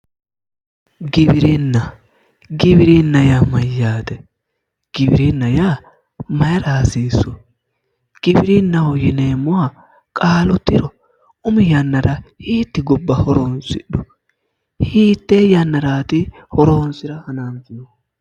Giwirinna giwirinna yaa mayyaate giwirinna yaa mayiira hasiissu giwirinnaho yineemmoha qaalu tiro umi yannara hiitti gobba horonsidhu hittee yannaraati horoonsira hananfihu